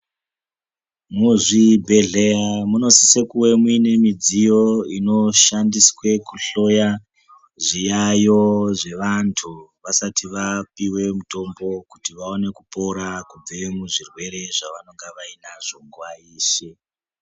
Muzvibhedhlera munosisa kuve nemidziyo ino shandiswa kuhloya zviyayo zvevantu vasati vapiwa mitombo kuti vaone kupora kubva kuzvirwere zvavanenge vanazvo nguwa yeshe.